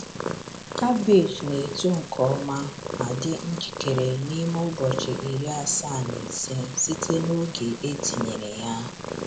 Cabbage na-eto nke ọma ma dị njikere n’ime ụbọchị iri asaa na ise site n’oge e tinyere ya.